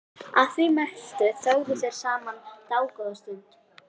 Að því mæltu þögðu þeir saman dágóða stund.